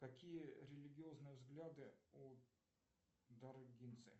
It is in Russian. какие религиозные взгляды у даргинцы